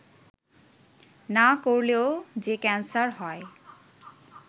না করলেও যে ক্যানসার হয়